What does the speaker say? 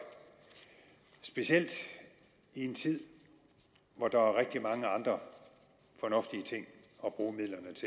specielt i en tid hvor der er rigtig mange andre fornuftige ting